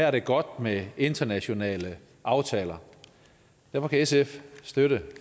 er godt med internationale aftaler derfor kan sf støtte